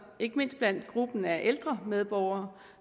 ikke mindst blandt gruppen af ældre medborgere